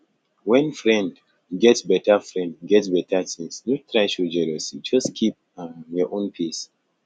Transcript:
when friend get better friend get better things no try show jealousy just keep um your own pace